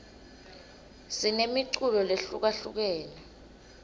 sinemiculo lehlukahlukene